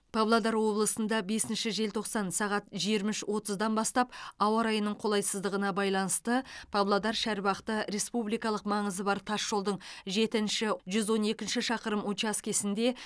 павлодар облысында бесінші желтоқсан сағат жиырма үш отыздан бастап ауа райының қолайсыздығына байланысты павлодар шарбақты республикалық маңызы бар тасжолдың жетінші жүз он екінші шақырым учаскесінде